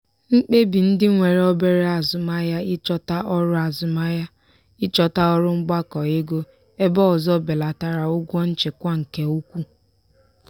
mkpebi ndị nwere obere azụmahịa ịchọta ọrụ azụmahịa ịchọta ọrụ mgbakọ ego ebe ọzọ belatara ụgwọ nchịkwa nke ukwuu.